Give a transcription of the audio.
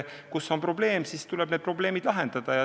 Kui on probleem, siis tuleb see probleem lahendada.